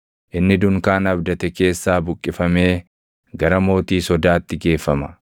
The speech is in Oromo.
Inni dunkaana abdate keessaa buqqifamee gara mootii sodaatti geeffama.